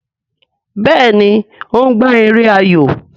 Béèni o ń gbà èrè ayọ.